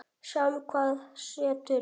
Sjáum hvað setur.